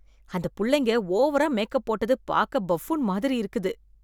அந்த புள்ளைங்க ஓவரா மேக்அப் போட்டது பார்க்க பஃபூன் மாதிரி இருக்குது.